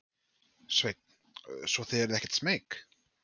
Sveinn: Svo þið eruð ekkert smeyk?